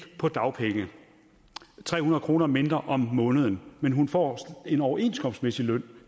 på dagpenge tre hundrede kroner mindre om måneden men hun får en overenskomstmæssig løn